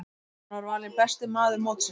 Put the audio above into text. Hann var valinn besti maður mótsins.